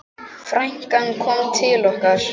Frænkan kom til okkar.